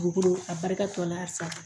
Dugu a barika tɔ n'a sago